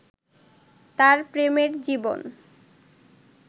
তার প্রেমের জীবন